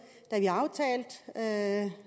da